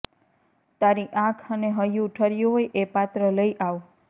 તારી આંખ અને હૈયું ઠર્યું હોય એ પાત્ર લઈ આવ